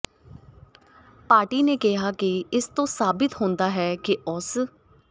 party ਨੇ ਕਿਹਾ ਕਿ ਇਸ ਤੋਂ ਸਾਬਿਤ ਹੁੰਦਾ ਹੈ ਕਿ ਉਸ